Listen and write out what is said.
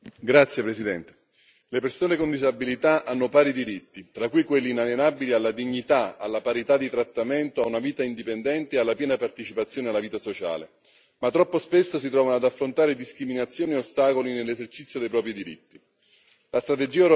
Signor Presidente, onorevoli colleghi, le persone con disabilità hanno pari diritti, tra cui quelli inalienabili alla dignità, alla parità di trattamento, a una vita indipendente e alla piena partecipazione alla vita sociale, ma troppo spesso si trovano ad affrontare discriminazioni e ostacoli nell'esercizio dei propri diritti.